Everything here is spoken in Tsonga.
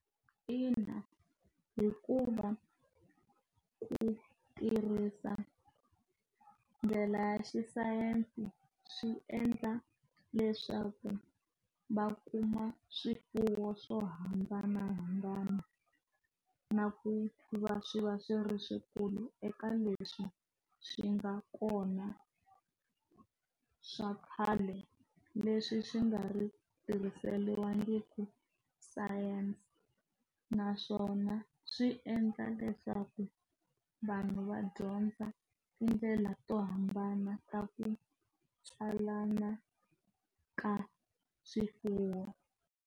Ina hikuva ku tirhisa ndlela ya xisayense swi endla leswaku va kuma swifuwo swo hambanahambana na ku va swi va swi ri swikulu eka leswi swi nga kona swa khale leswi swi nga ri tirhiseriwangi ku science naswona swi endla leswaku vanhu va dyondza tindlela to hambana ta ku tswalana ka swifuwo.